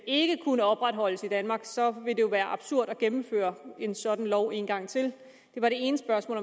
ikke kunne opretholdes i danmark så vil det jo være absurd at gennemføre en sådan lov en gang til det var det ene spørgsmål